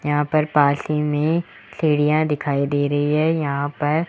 यहां पर पास ही में चिड़िया दिखाई दे रही है यहां पर--